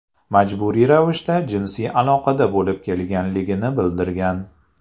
majburiy ravishda jinsiy aloqada bo‘lib kelganligini bildirgan.